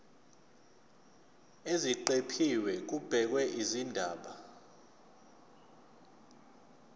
eziqephini kubhekwe izindaba